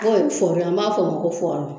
N'o ye kɔri ye an b'a fɔ a ma ko kɔri